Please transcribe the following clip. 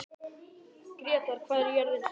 Grétar, hvað er jörðin stór?